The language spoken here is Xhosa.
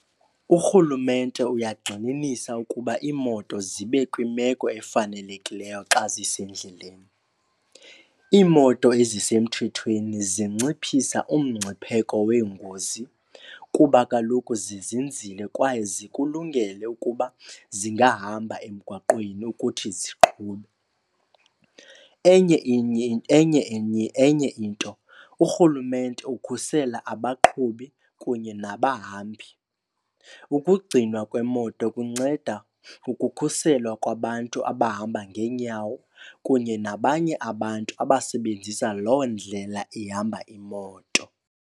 Urhulumente uyagxininisa ukuba iimoto zibe kwimeko efanelekileyo xa zisendleleni. Iimoto ezisemthethweni zinciphisa umngcipheko weengozi kuba kaloku zizinzile kwaye zikulungele ukuba zingahamba emgwaqweni ukuthi ziqhube. Enye enye , enye into urhulumente ukhusela abaqhubi kunye nabahambi. Ukugcinwa kwemoto kunceda ukukhuselwa kwabantu abahamba ngeenyawo kunye nabanye abantu abasebenzisa loo ndlela ihamba imoto.